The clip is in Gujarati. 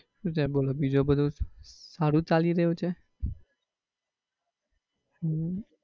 શું છે બોલો બીજું બધું? સારું ચાલી રહ્યું છે? હમ